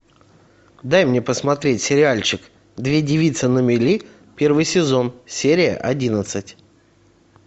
дай мне посмотреть сериальчик две девицы на мели первый сезон серия одиннадцать